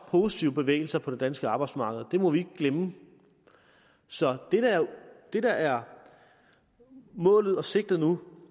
positive bevægelser på det danske arbejdsmarked og det må vi ikke glemme så det der er målet og sigtet nu